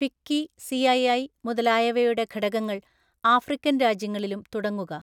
FICCI, CII മുതലായവയുടെ ഘടകങ്ങള്‍ African‍ രാജ്യങ്ങളിലും തുടങ്ങുക.